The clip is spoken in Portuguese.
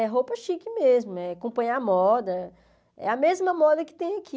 É roupa chique mesmo, é acompanhar a moda, é a mesma moda que tem aqui.